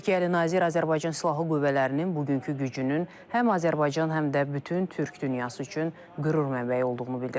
Türkiyəli nazir Azərbaycan Silahlı Qüvvələrinin bugünkü gücünün həm Azərbaycan, həm də bütün türk dünyası üçün qürur mənbəyi olduğunu bildirib.